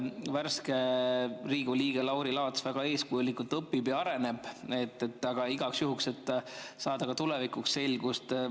Värske Riigikogu liige Lauri Laats väga eeskujulikult õpib ja areneb igaks juhuks, et saada tulevikuks selgust.